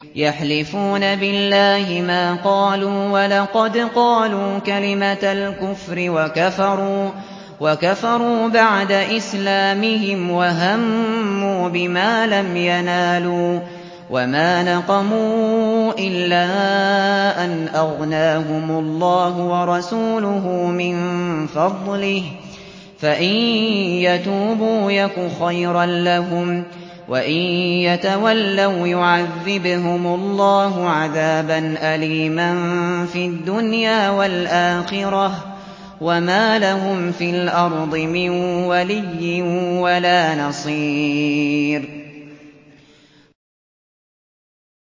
يَحْلِفُونَ بِاللَّهِ مَا قَالُوا وَلَقَدْ قَالُوا كَلِمَةَ الْكُفْرِ وَكَفَرُوا بَعْدَ إِسْلَامِهِمْ وَهَمُّوا بِمَا لَمْ يَنَالُوا ۚ وَمَا نَقَمُوا إِلَّا أَنْ أَغْنَاهُمُ اللَّهُ وَرَسُولُهُ مِن فَضْلِهِ ۚ فَإِن يَتُوبُوا يَكُ خَيْرًا لَّهُمْ ۖ وَإِن يَتَوَلَّوْا يُعَذِّبْهُمُ اللَّهُ عَذَابًا أَلِيمًا فِي الدُّنْيَا وَالْآخِرَةِ ۚ وَمَا لَهُمْ فِي الْأَرْضِ مِن وَلِيٍّ وَلَا نَصِيرٍ